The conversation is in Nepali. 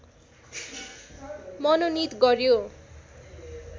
मनोनित गर्‍यो